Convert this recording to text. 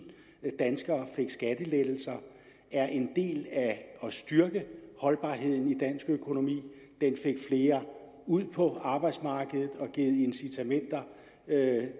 danskere fik skattelettelser er en del af at styrke holdbarheden i dansk økonomi den fik flere ud på arbejdsmarkedet og har givet incitament